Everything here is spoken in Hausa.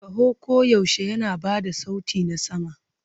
Kaho koyaushe yana ba da sauti na sama.